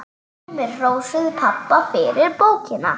Sumir hrósuðu pabba fyrir bókina.